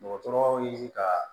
Dɔgɔtɔrɔw ye ka